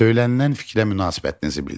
Söylənilən fikrə münasibətinizi bildirin.